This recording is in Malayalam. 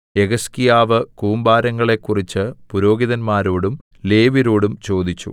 യെഹിസ്കീയാവ് കൂമ്പാരങ്ങളെക്കുറിച്ച് പുരോഹിതന്മാരോടും ലേവ്യരോടും ചോദിച്ചു